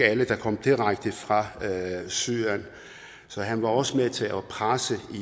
alle der kom direkte fra syrien så han var også med til at presse